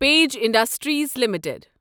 page Industries limited